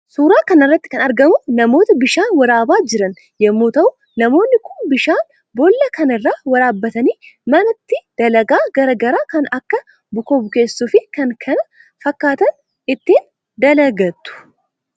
Suuraa kanarratti kan argamu namoota bishaan waraabaa jiran yommuu ta'u namoonni Kuni bishaan bollaa kana irraa waraabbatani mana itti dalagaa garaa garaa kan Akka bukoo bukeessuu fi kan kana fakkaatan ittiin dalagatu.